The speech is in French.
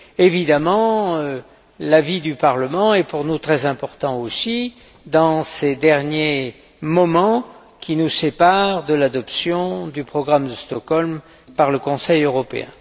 Évidemment, l'avis du Parlement est pour nous très important aussi dans ces derniers moments qui nous séparent de l'adoption du programme de Stockholm par le Conseil européen.